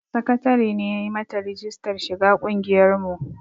Sakatare ne ya yi mata rijistar shiga ƙungiyar mu